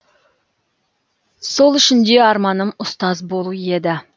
сол үшін де арманым ұстаз болу еді